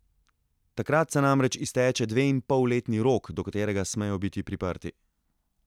Takrat se namreč izteče dveinpolletni rok, do katerega smejo biti priprti.